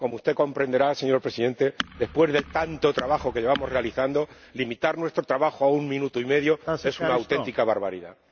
Como usted comprenderá, señor Presidente, después de tanto trabajo que llevamos realizando, limitar nuestro trabajo a un minuto y medio es una auténtica barbaridad.